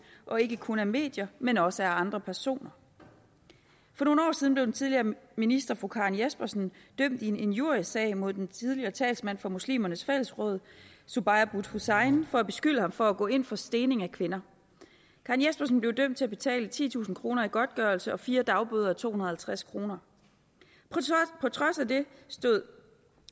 og ikke kun af medier men også af andre personer for nogle år siden blev den tidligere minister fru karen jespersen dømt i en injuriesag mod den tidligere talsmand for muslimernes fællesråd zubair butt hussain for at beskylde ham for at gå ind for stening af kvinder karen jespersen blev dømt til at betale titusind kroner i godtgørelse og fire dagbøder a to hundrede og halvtreds kroner på trods af det stod